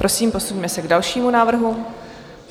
Prosím, posuňme se k dalšímu návrhu.